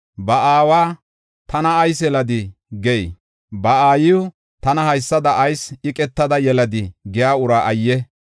Ba aawa, “Tana ayis yeladii?” giya, ba aayiw, “Tana haysada ayis bannakadii?” giya uraa ayye!